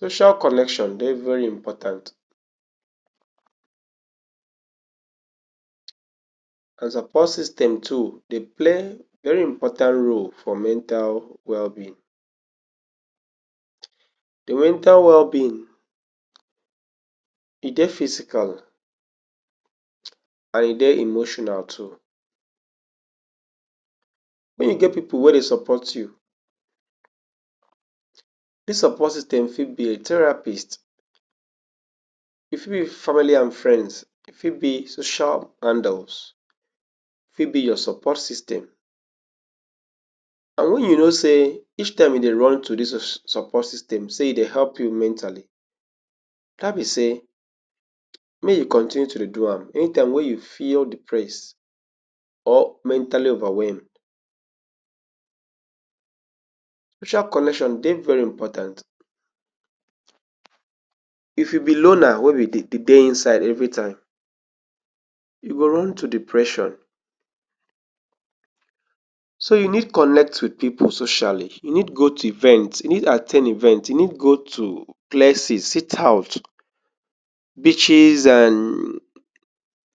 Social connection dey very important cos opo system too dey play veri important role for mental wellbeing. Di wental wellbeing, e dey physical and e dey emotional too. Make e get pipu wey dey support you. Dis support system fi be a therapist, e fi be family and frends, e fi be social handles, e fi be your support system. And wen you know say each time you dey run to dis your support system say e dey help you mentally, dat be say mey you continue to dey do am anytime wey you feel depressed or mentally overwhelmed. Social connection dey very important. If you be loner wey be dey dey inside evritime, you go run to depression. So you need connect wit pipu socially. You need go tu event, you need at ten d event, you need go tu places, sit out, beaches and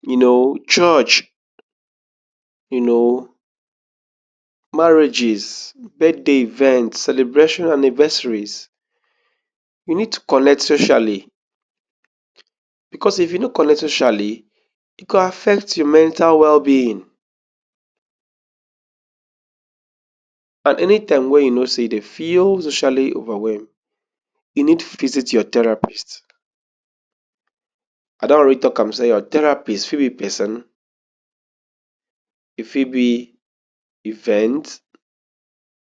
you know, church, you know marriages, birthday event, celebration, anniversaries. We need to colect socially bicos if you no colect socially, e go affect your mental wellbeing. And anytime wey you know say you dey feel socially overwhelm, e need visit your therapist. I don already tok am say your therapist fi be pesin, e fitbe event,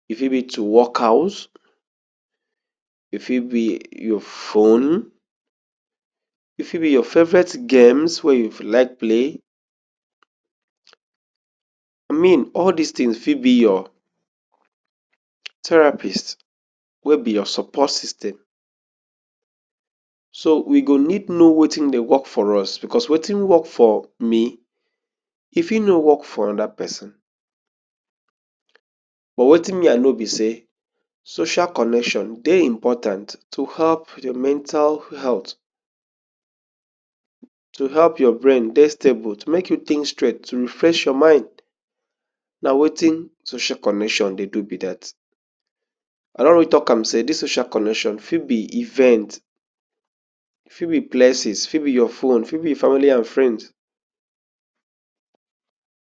e fi be to wok-out, e fi be your phone, e fi be your favourite games, wey you like play. I mean all dis tins fi be your therapist wey be your support system. So we go need know wetin dey wok for us, bicos wetin wok for me, e fi no wok for oda pesin. But wetin me I know be say social connection dey important tu help de mental health, tu help your brain dey stable, tu make you tink straight, to refresh your mind. Na wetin social connection dey do be dat. I don already tok am say dis social connection fi be event, e fi be places, fi be your phone, fi be family and frends.